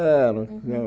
É elas